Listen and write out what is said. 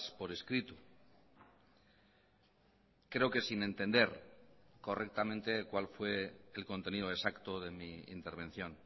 por escrito creo que sin entender correctamente cuál fue el contenido exacto de mi intervención